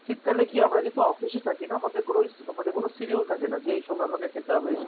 শীতকালে কি যেহেতু আমরা অফিসে থাকি না আমাদের কোনো schedule থাকে না যে এই সময় আমাকে খেতে হবে.